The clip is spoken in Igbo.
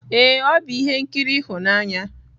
ee, ọ bụ ihe nkiri ịhụnanya.